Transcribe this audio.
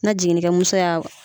Na jiginnikɛmuso y'a